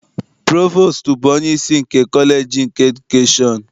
Provostu bụ onyeisi nke kọleji nke edukeshọn.